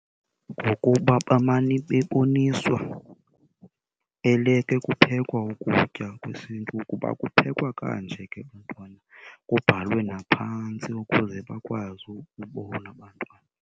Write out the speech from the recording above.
Ngokuba bamane beboniswa eleke kuphekwa ukutya kwesiNtu ukuba kuphekwa kanje ke bantwana, kubhalwe naphantsi ukuze bakwazi ukubona abantwana.